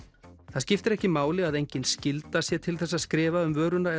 það skiptir ekki máli að engin skylda sé til þess að skrifa um vöruna